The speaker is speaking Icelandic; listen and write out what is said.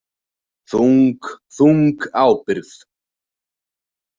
Þung, þung ábyrgð.